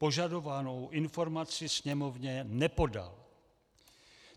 Požadovanou informaci Sněmovně nepodal.